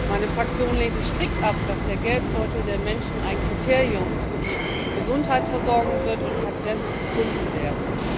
Meine Fraktion lehnt es strikt ab, dass der Geldbeutel der Menschen ein Kriterium für die Gesundheitsversorgung wird und Patienten zu Kunden werden.